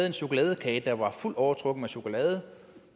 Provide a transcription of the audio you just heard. en chokoladekage der var fuldt overtrukket med chokolade